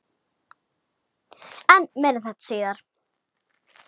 En meira um þetta síðar.